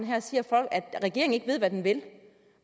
her og siger at regeringen ikke ved hvad den vil